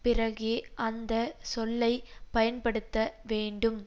பிறகே அந்த சொல்லை பயன்படுத்த வேண்டும்